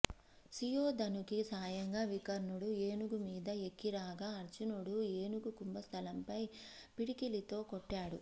సుయోధనుకి సాయంగా వికర్ణుడు ఏనుగు మీద ఎక్కి రాగా అర్జునుడు ఏనుగు కుంభ స్థలంపై పిడికిలితో కొట్టాడు